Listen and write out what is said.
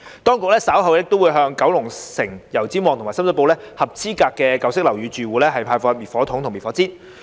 當局稍後亦會向油尖旺、九龍城及深水埗合資格舊式樓宇住戶派發滅火筒及滅火氈。